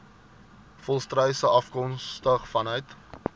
volstruise afkomstig vanuit